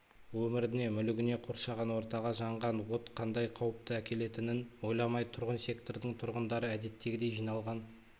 өміріне мүлігіне қоршаған ортаға жаңған от қандай қауіпті әкелетінін ойламай тұрғын сектордың тұрғындары әдеттегідей жиналған